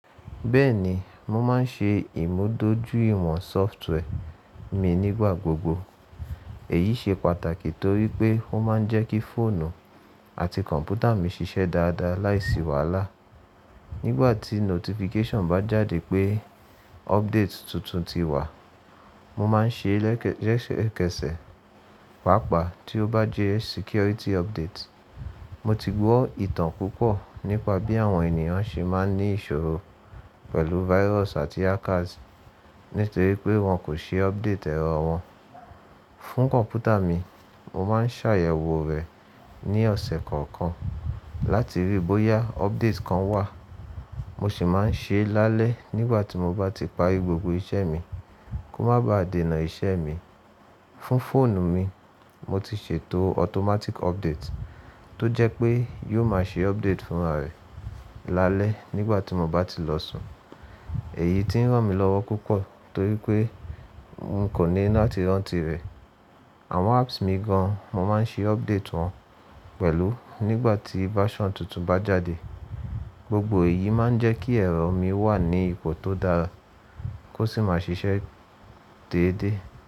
Bẹ́ẹ̀ni, mo máa ń ṣe ìmúdójúìwọ̀n sọftware mi nígbà gbogbo. Èyí ṣe pàtàkì torí pé ó máa ń jẹ́ kí fóònù àti kọ̀m̀pútà mi ṣiṣẹ́ dáadáa láìsí wàhálà. Nígbà tí notification bá jáde pé update tuntun ti wà, mo máa ń ṣe é lẹ́sẹ̀kẹsẹ̀, pàápàá tí ó bá jẹ́ security update. Mo ti gbọ́ ìtàn púpọ̀ nípa bí àwọn ènìyàn ṣe máa ń ní ìṣòro pẹ̀lú virus àti hackers nítorí pé wọ́n kò ṣe update ẹ̀rọ wọn. Fún kọ̀m̀pútà mi, mo máa ń ṣàyẹ̀wò rẹ̀ ní ọ̀sẹ̀ kọ̀ọ̀kan láti rí bóyá update kan wà. Mo sì máa ń ṣe é lálẹ́ nígbà tí mo bá ti parí gbogbo iṣẹ́ mi kó má ba à dènà iṣẹ́ mi. Fún fóònù mi, mo ti ṣètò automatic update tó jẹ́ pé yóò máa ṣe update fúnra rẹ̀ lálẹ́ nígbà tí mo bá ti lọ sùn. Èyí ti ń ràn mí lọ́wọ́ púpọ̀ torí pé n kò ní láti rántí rẹ̀. Àwọn apps mi gan, mo máa ń ṣe update wọn pẹ̀lú nígbà tí version tuntun bá jáde. Gbogbo èyí máa ń jẹ́ kí ẹ̀rọ mi wà ní ipò tó dáa kó sì máa ṣiṣẹ́ déedé.